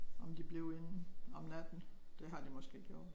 Om de blev inden om natten det har de måske gjort